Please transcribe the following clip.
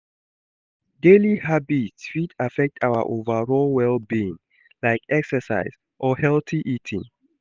daily habits fit affect our overall well-being, like exercise or healthy eating.